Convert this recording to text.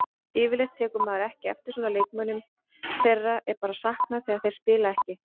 Yfirleitt tekur maður ekki eftir svona leikmönnum, þeirra er bara saknað þegar þeir spila ekki.